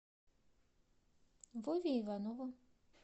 вове иванову